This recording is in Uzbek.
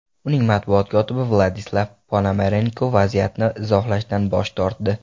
Uning matbuot kotibi Vladislav Ponomarenko vaziyatni izohlashdan bosh tortdi.